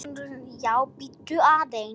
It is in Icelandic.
JÓN BEYKIR: Jú, bíddu aðeins!